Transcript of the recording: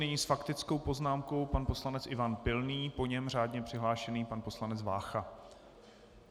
Nyní s faktickou poznámkou pan poslanec Ivan Pilný, po něm řádně přihlášený pan poslanec Vácha.